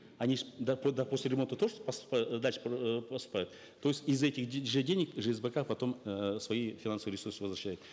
они же после ремонта тоже э дальше э поступают то есть из этих же денег жсбк потом э свои финансовые ресурсы возвращает